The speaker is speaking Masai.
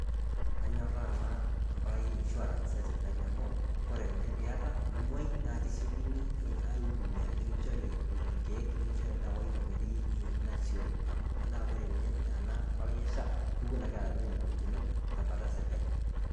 Anyorraa naa empalai e insurance esipitali amu kore ninye piata nimuoi naa kisiokini eh aidumia nikinchori ilkeek nikinchori oldawa tenkoitoi eh nasioyo amu eh na kore ninye ena palai e SHA kewuen akeata ninye ingolikinot tembata e sirkali.